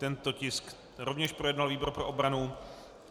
Tento tisk rovněž projednal výbor pro obranu.